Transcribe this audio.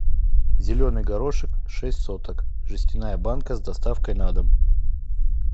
зеленый горошек шесть соток жестяная банка с доставкой на дом